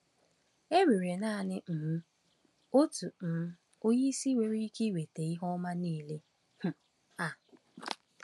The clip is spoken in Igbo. E nwere naanị um otu um Onyeisi nwere ike iweta ihe ọma niile um a.